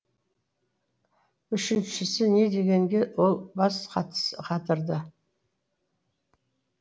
үшіншісі не дегенге ол бас қатырды